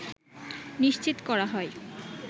নিশ্চিত করা হয়